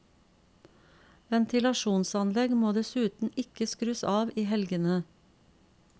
Ventilasjonsanlegg må dessuten ikke skrus av i helgene.